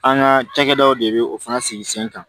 An ka cakɛdaw de bɛ o fana sigi sen kan